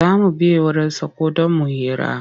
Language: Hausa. Za mu biya wurinsa ko don mu hira.